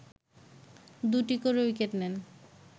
দুটি করে উইকেট নেন